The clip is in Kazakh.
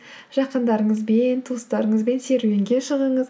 жақындарыңызбен туыстарыңызбен серуенге шығыңыз